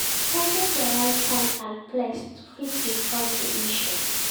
target di right time and place to fit discuss di issue